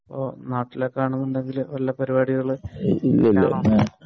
അപ്പൊ നാട്ടിലൊക്കെ ആണെങ്കിൽ വല്ല പരിപാടികളും